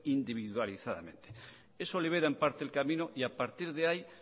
individualizadamente eso libera en parte el camino y a partir de ahí